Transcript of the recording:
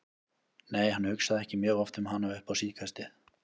Nei, hann hugsaði ekki mjög oft um hana upp á síðkastið.